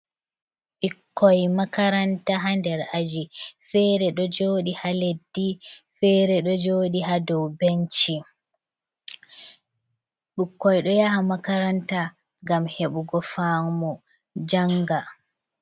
Ɓikkoi makaranta haa nder aji. Fere ɗo joɗi haa leddi fere ɗo joɗi haa dow benci. Ɓikkoi ɗo yaha makaranta ngam heɓugo faamu, janga.